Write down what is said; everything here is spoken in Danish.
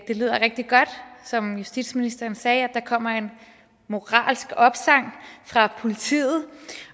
det lyder rigtig godt som justitsministeren sagde at der kommer en moralsk opsang fra politiet